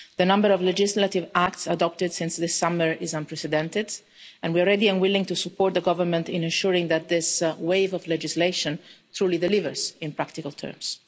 The number of legislative acts adopted since this summer is unprecedented, and we are ready and willing to support the government in ensuring that this wave of legislation truly delivers in practical terms.